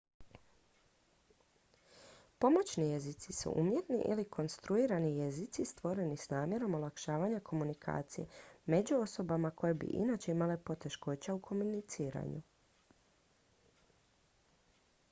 pomoćni jezici su umjetni ili konstruirani jezici stvoreni s namjerom olakšavanja komunikacije među osobama koje bi inače imale poteškoća u komuniciranju